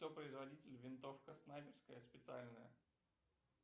кто производитель винтовка снайперская специальная